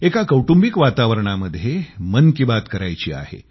एका कौटुंबिक वातावरणामध्ये मन की बात करायची आहे